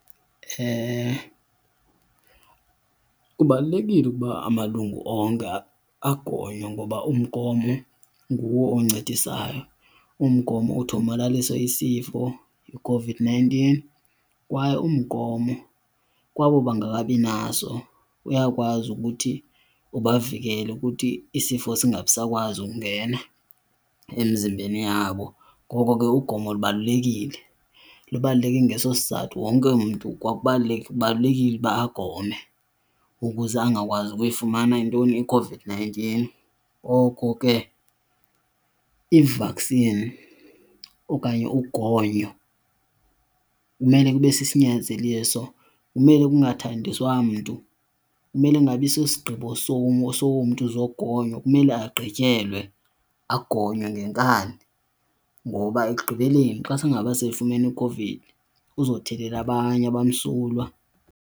Kubalulekile ukuba amalungu onke agonywe ngoba umgomo nguwo oncedisayo. Umgomo uthi uthomalalise isifo iCOVID-nineteen kwaye umgomo kwabo bangakabinaso uyakwazi ukuthi ubavikele ukuthi isifo singabisakwazi ukungena emzimbeni yabo. Ngoko ke ugomo lubalulekile, lubaluleke ngeso sizathu. Wonke umntu kubalulekile ukuba agome ukuze angakwazi ukuyifumana intoni, iCOVID-nineteen. Ngoko ke i-vaccine okanye ugonyo kumele kube sisinyanzeliso, kumele kungathandiswa mntu. Kumele kungabi sosigqibo somntu zogonyo, kumele agqityelwe agonywe ngenkani ngoba ekugqibeleni xa singaba sefumene iCOVID uzothelela abanye abamsulwa.